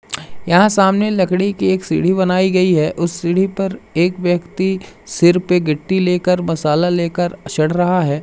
यहां सामने लकड़ी की एक सीढ़ी बनाई गई है उस सीढ़ी पर एक व्यक्ति सिर पे गिट्टी लेकर मसाला लेकर चढ़ रहा है।